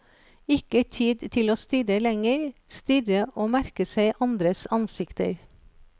Ikke tid til å stirre lenger, stirre og merke seg andres ansikter.